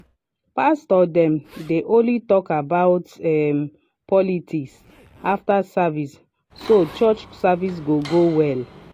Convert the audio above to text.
pastor dem dey only talk about um politics after service so church go service go go well.